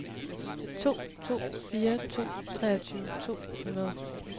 to to fire to treogtyve to hundrede